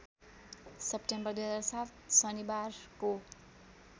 September २००७ शनिबारको